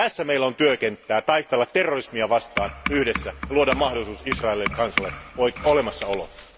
Tässä meillä on työkenttää taistella terrorismia vastaan yhdessä ja luoda mahdollisuus Israelin kansalle olemassaoloon.